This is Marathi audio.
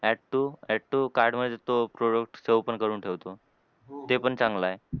Add to add to cart मधे तो product save पण करून ठेवतो. ते पण चांगलं आहे.